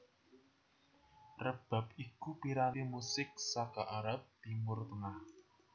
Rebab iku piranti musik saka Arab Timur Tengah